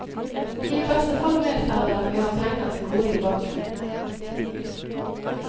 I beste fall medfører det at vi har penger til gode i banken.